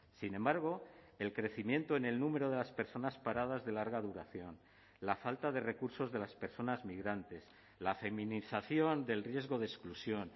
sin embargo el crecimiento en el número de las personas paradas de larga duración la falta de recursos de las personas migrantes la feminización del riesgo de exclusión